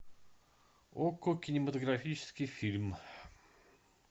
окко кинематографический фильм